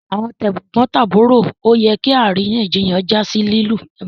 Àwọn tegbontaburo ọ yẹ kí àríyànjiyàn já sí lilu